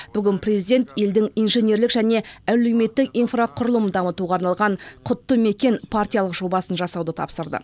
бүгін президент елдің инженерлік және әлеуметтік инфрақұрылым дамытуға арналған құтты мекен партиялық жобасын жасауды тапсырды